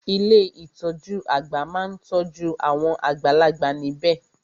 Ilé ìtọjú àgbà má n tọ́jú awon àgbàlagbà níbẹ̀.